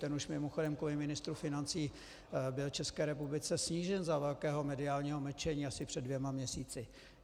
Ten už mimochodem kvůli ministru financí byl České republice snížen za velkého mediálního mlčení asi před dvěma měsíci.